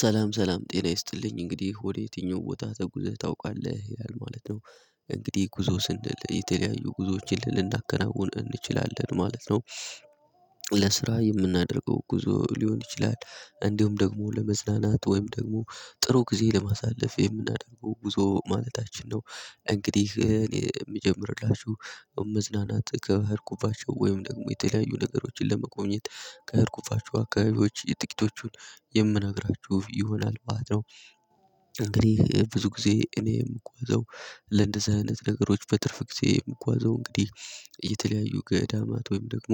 ሰላም ሰላም ጤና ይስጥልኝ እንግዲህ ወደ የትኛው ቦታ ተጉዘህ ታውቃለህ ይላል ማለት ነው። እንግዲህ ጉዞ ስንል የተለያዩ ጉዞዎችን ልንናከናውን እንችላለን ማለት ነው። ለስራ የምናደርገው ጉዞ ሊሆን ይችላል እንዲሁም ደግሞ ለመዝናናት ወይም ደግሞ ጥሩ ጊዜ ለማሳለፍ የምናደርገው ጉዞ ማለታችን ነው። እንግዲህ እኔ የምጀምርላችሁ መዝናናት ከሄድኩባቸው ወይም ደግሞ የተለያዩ ነገሮችን ለመጎብኘት ከሄድኩባቸው አካባቢዎች የጥቂቶቹን ምነግራችሁ ይሆናል ማለት ነው። እንግዲህ ብዙ ጊዜ እኔ የምጓዘው ለእንደዚህ አይነት ነገሮች በትርፍ ጊዜ የምጓዘው እንግዲህ እየተለያዩ ገዳማት ወይም ደግሞ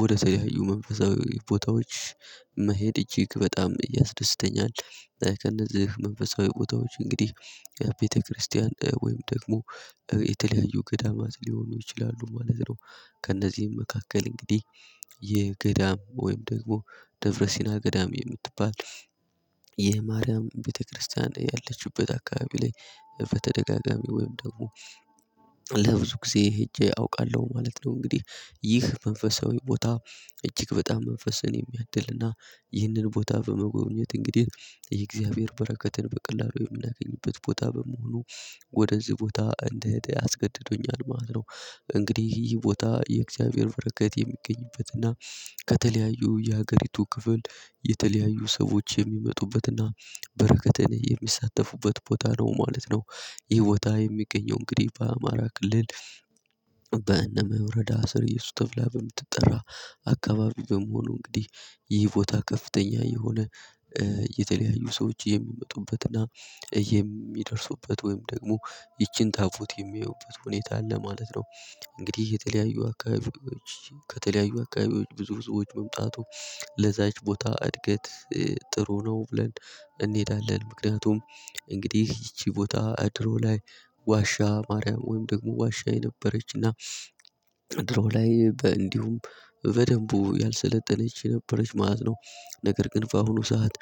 ወደ ተለያዩ መንፈሳዊ ቦታዎች መሄድ እጅግ በጣም ያስደስተኛል። ከእነዚህ መንፈሳዊ ቦታዎች እንግዲህ ቤተክርስቲያን ወይም ደግሞ የተለያዩ ገዳማት ሊሆኑ ይችላሉ ማለት ነው። ከእነዚህም መካከል እንግዲህ የገዳም ወይም ደግሞ ደብረሲና ገዳም የምትባል የማርያም ቤተክርስቲያን ያለችበት በአካባቢ ላይ በተደጋጋሚ ወይም ደግሞ ለብዙ ጊዜ ሄጄ አውቃለሁ ማለት ነው። እንግዲህ ይህ መንፈሳዊ ቦታ እጅግ በጣም መንፈስን የሚያድልና ይህንን ቦታ በመጎብኘት እንግዲህ የእግዚአብሔር በረከትን በቀላሉ የምናገኝበት ቦታ በመሆኑ ወደዚህ ቦታ እንድሄድ አስገድዶኛል ማለት ነው። እንግዲህ ይህ ቦታ የእግዚአብሔር በረከት የሚገኝበትና ከተለያዩ የሀገሪቱ ክፍል የተለያዩ ሰዎች የሚመጡበትና በረከተን የሚሳተፉበት ቦታ ነው ማለት ነው። ይህ ቦታ የሚገኘው እንግዲህ በአማራ ክልል። በእነመ ወረዳ ስርእየሱስ ተብላ በምትጠራ አካባቢ በመሆኑ እንግዲህ ይህ ቦታ ከፍተኛ የሆነ የተለያዩ ሰዎች የሚመጡበትና የሚደርሱበት ወይም ደግሞ ይቺን ጣፉት የሚያዩበት ሁኔታ አለ ማለት ነው። እንግዲህ የተለያዩ አካባቢዎች ከተለያዩ አካባቢዎች ብዙ ሰዎች መምጣቱ ለዚያች ቦታ እድገት ጥሩ ነው ብለን። እንሄዳለን ምክንያቱም እንግዲህ ይቺ ቦታ ድሮ ላይ ዋሻ ማርያም ወይም ደግሞ ዋሻ የነበረችና ድሮ ላይ እንዲሁም በደንብ ያልሰለጠነች ነበረች ማለት ነው። ነገር በአሁኑ ሰዓት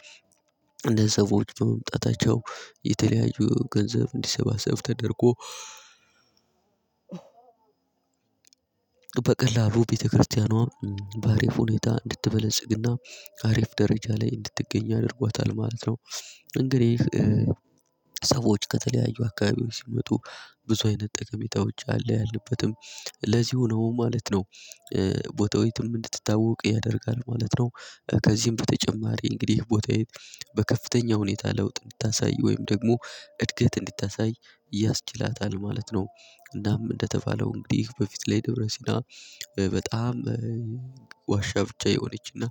እንዳንድ ሰዎች በመምጣታቸው የተለያዩ ገንዘብ እንዲሰባሰብ ተደርጎ በቀላሉ ቤተክርስቲያኗ በአሪፍ ሁኔታ እንድትበለጽግና አሪፍ ደረጃ ላይ እንድትገኝ አድርጓታል ማለት ነው። እንግዲህ ሰዎች ከተለያዩ አካባቢዎች ሲመጡ ብዙ አይነት ጠቀሜታዎች አለ ያለበትም ለዚሁ ነው ማለት ነው። ቦታው የትም እንድትታወቅ ያደርጋል ማለት ነው። ከዚህም በተጨማሪ እንግዲህ ቦታዬ በከፍተኛ ሁኔታ ለውጥ እንድታሳይ ወይም ደግሞ እድገት እንዲታሳይ ያስችላታል ማለት ነው። እናም እንደተባለው እንግዲህ በፊት ላይ ደብረ ሲና በጣም ዋሻ ብቻ የሆነችና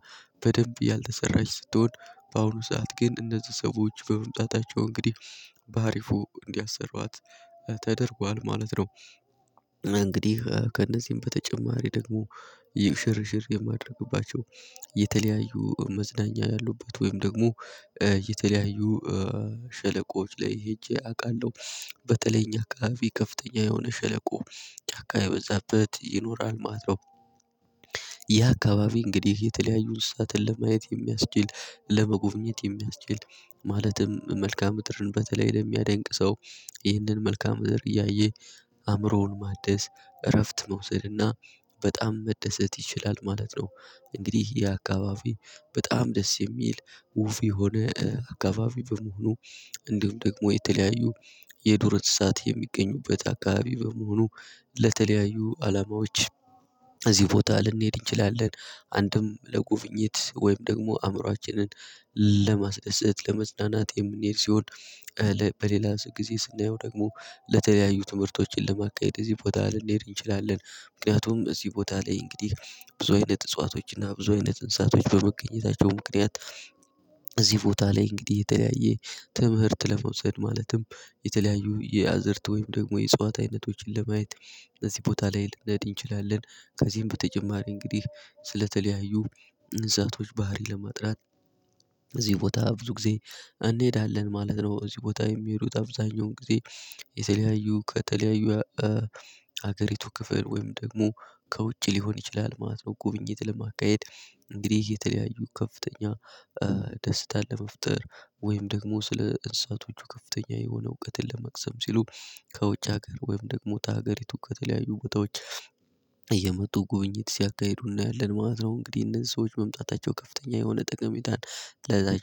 በደንብ ያልተሰራች ስትሆን በአሁኑ ሰዓት ግን እነዚህ ሰዎች በመምጣታቸው እንግዲህ በአሪፉ እንዲያሰሯት ተደርጓል ማለት ነው። እንግዲህ ከእነዚህም በተጨማሪ ደግሞ ሽርሽር የማድረግባቸው የተለያዩ መዝናኛ ያሉበት ወይም ደግሞ የተለያዩ ሸለቆዎች ላይ ሄጄ አውቃለሁ። በተለይ ከእኛ አከባቢ ከፍተኛ የሆነ ሸለቆ ጫካ የበዛበት ይኖራል ማለት ነው። ያ አካባቢ እንግዲህ የተለያዩ እንስሳትን ለማየት የሚያስችል ለመጎብኘት የሚያስችል ማለትም መልካም ምድርን በተለይ የሚያደንቅ ሰው ይህንን መልካም ምድር እያየ አእምሮውን ማደስ እረፍት መውሰድና በጣም መደሰት ይችላል ማለት ነው። እንግዲህ ይህ አከባቢ በጣም ደስ የሚል ውብ የሆነ አከባቢ በመሆኑ እንዲሁም ደግሞ የተለያዩ የዱር እስሳት የሚገኙበት አከባቢ በመሆኑ ለተለያዩ አላማዎች እዚህ ቦታ ልንሄድ እንችላለን። አንድም ለጉብኝት ወይም ደግሞ አእምሮአችንን ለማስደሰት ለመዝናናት የምንሄድ ሲሆን በሌላ ጊዜ ስናየው ደግሞ ለተለያዩ ትምህርቶችን ለማካሄድ እዚህ ቦታ ልንሄድ እንችላለን። ምክንያቱም እዚህ ቦታ ላይ እንግዲህ ብዙ አይነት እጽዋቶችና ብዙ አይነ እንስሳቶች በመገኘታቸው ምክንያት እዚህ ቦታ ላይ እንግዲህ የተለያየ ትምህርት ለመውሰድ ማለትም የተለያዩ የአዝርት ወይም ደግሞ የእጸዋት አይነቶችን ለማየት እዚህ ቦታ ላይ ልንሄድ እንችላለን። ከዚህም በተጨማሪ እንግዲህ ስለተለያዩ እንስሳቶች ባህሪ ለማጥናት እዚህ ቦታ ብዙ ጊዜ እንሄዳለን ማለት ነው። እዚህ ቦታ የሚሄዱት አብዛኛውን ጊዜ የተለያዩ ከተለያዩ ሀገሪቱ ክፍል ወይም ደግሞ ከውጭ ሊሆን ይችላል ማለት ነው። ጉብኝት ለማካሄድ እንግዲህ የተለያዩ ከፍተኛ ደስታን ለመፍጠር ወይም ደግሞ ስለ እንሳቶቹ ከፍተኛ የሆነ እውቀትን ለመቅሰም ሲሉ ከውጭ ሀገር ወይም ደግሞ ከሀገሪቱ ከተለያዩ ቦታዎች እየመጡ ጉብኝት ሲያካሂዱ እናያለን ማለት ነው። እንግዲህ እነዚህ ሰዎች መምጣታቸው ከፍተኛ የሆነ ጠቀሜታን ለዚያች